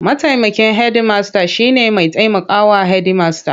Mataimakin hedimasta shine mai taimaka wa Hedimasta.